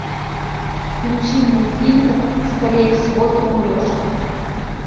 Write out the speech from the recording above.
включи мне фильмик скорее всего ты умрешь